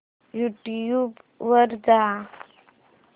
YouTube वर जा